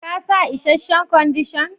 Ka sa isheshen Kwandishan?